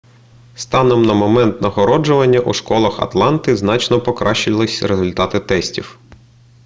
станом на момент нагороджування у школах атланти значно покращились результати тестів